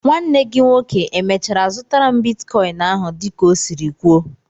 Nwanne gị nwoke e mèchàrà zụtaru m bịtkọin áhù dị ka ọ siri kwuó?